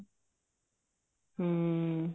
ਹਮ